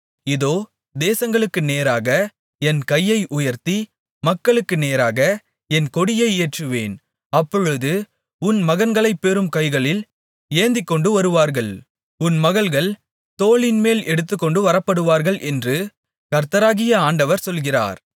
இதோ தேசங்களுக்கு நேராக என் கையை உயர்த்தி மக்களுக்கு நேராக என் கொடியை ஏற்றுவேன் அப்பொழுது உன் மகன்களை பெரும் கைகளில் ஏந்திக்கொண்டு வருவார்கள் உன் மகள்கள் தோளின்மேல் எடுத்துக்கொண்டு வரப்படுவார்கள் என்று கர்த்தராகிய ஆண்டவர் சொல்கிறார்